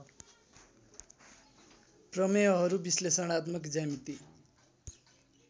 प्रमेयहरू विश्लेषणात्मक ज्यामिति